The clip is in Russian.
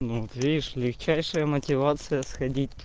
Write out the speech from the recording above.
ну вот видишь легчайшая мотивация сходить